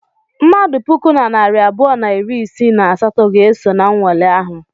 Mmadụ puku na narị abụọ na iri isii na asatọ ga-eso na nwale ahụ.